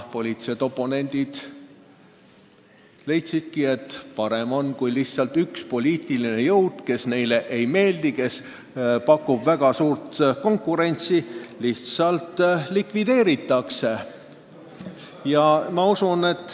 Poliitilised oponendid leidsidki, et parem on, kui üks poliitiline jõud, kes neile ei meeldi, kes pakub väga suurt konkurentsi, lihtsalt likvideeritakse.